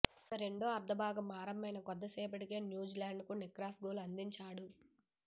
ఇక రెండో అర్ధభాగం ఆరంభమైన కొద్దిసేపటికే న్యూజిలాండ్కు నిక్రాస్ గోల్ అందించాడు